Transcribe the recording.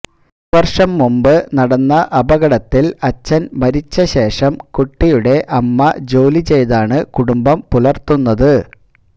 ഒരുവര്ഷം മുമ്പ് നടന്ന അപകടത്തില് അച്ഛന് മരിച്ച ശേഷം കുട്ടിയുടെ അമ്മ ജോലിചെയ്താണ് കുടുംബം പുലര്ത്തുന്നത്